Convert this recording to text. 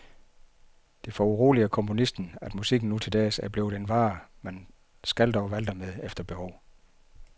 Det foruroliger komponisten, at musik nu til dags er blevet en vare, man skalter og valter med efter behov.